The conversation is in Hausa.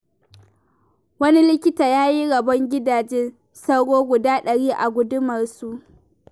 Wani likita ya yi rabon gidajen sauro guda dari a gundumarsu.